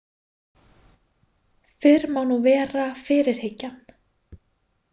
Fyrr má nú vera fyrirhyggjan!